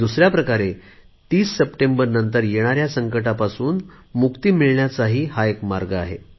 दुसऱ्या प्रकारे 30 सप्टेंबर नंतर येणाऱ्या संकटांपासून मुक्ती मिळण्याचा हा मार्ग आहे